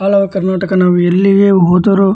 all over Karnataka ನಾವು ಎಲ್ಲಿಗೆ ಹೋದರು --